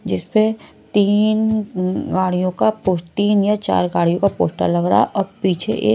जिस पे तीन गाड़ियों का पोस्ट तीन या चार गाड़ियों का पोस्टर लग रहा है और पीछे एक--